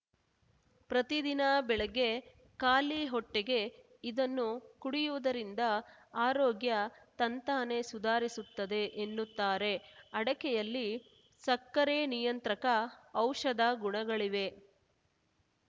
ಪ್ರತಿದಿನ ಬೆಳಗ್ಗೆ ಖಾಲಿ ಹೊಟ್ಟೆಗೆ ಇದನ್ನು ಕುಡಿಯುವುದರಿಂದ ಆರೋಗ್ಯ ತಂತಾನೆ ಸುಧಾರಿಸುತ್ತದೆ ಎನ್ನುತ್ತಾರೆ ಅಡಕೆಯಲ್ಲಿ ಸಕ್ಕರೆ ನಿಯಂತ್ರಕ ಔಷಧ ಗುಣಗಳಿವೆ